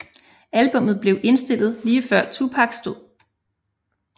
Albummet blev indspillet lige før Tupacs død